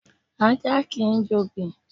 Ajá kìí jobì.